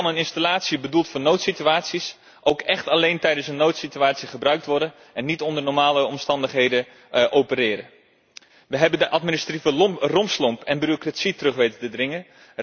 Zo kan een installatie bedoeld voor noodsituaties ook echt alleen tijdens een noodsituatie gebruikt worden en niet onder normale omstandigheden opereren. We hebben de administratieve rompslomp en bureaucratie terug weten te dringen.